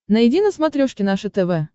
найди на смотрешке наше тв